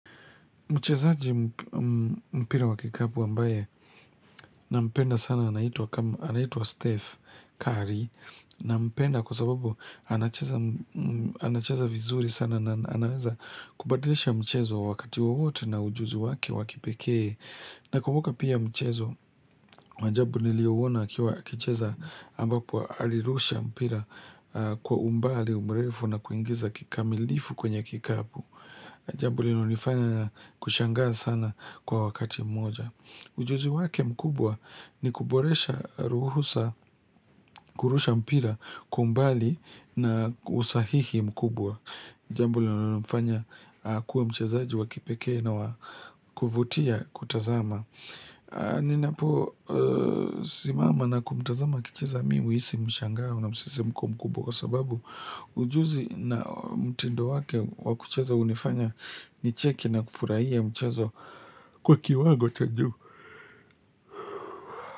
Mchezaji mpira wa kikapu ambaye na mpenda sana anaitwa Steph Curry nampenda kwa sababu anacheza vizuri sana na anaweza kubadilisha mchezo wakati wowote na ujuzi waki wa kipekee. Na kumbuka pia mchezo wa ajabu niliyoona akiwa akicheza ambapo alirusha mpira kwa umbali mrefu na kuingiza kikamilifu kwenye kikapu. Jambo linalonifanya na kushangaa sana kwa wakati mmoja. Ujuzi wake mkubwa ni kuboresha ruhusa, kurusha mpira kwa umbali na usahihi mkubwa. Jambo linalomfanya akuwe mchezaji wa kipekee na wa kuvutia kutazama. Ninapo simama na kumtazama akicheza mimi huisi mshangao na msisimko mkubwa. Kwa sababu ujuzi na mtindo wake wa kucheza hunifanya nicheke na kufurahia mchezo kwa kiwango cha juu.